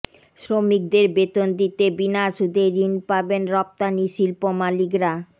শ্রমিকদের বেতন দিতে বিনা সুদে ঋণ পাবেন রপ্তানি শিল্প মালিকরা